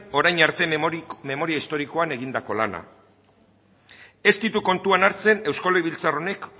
orain arte memoria historikoan egindako lana ez ditu kontuan hartzen eusko legebiltzar honek